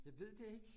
Jeg ved det ikke